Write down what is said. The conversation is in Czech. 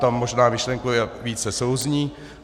Tam možná myšlenkově více souzní.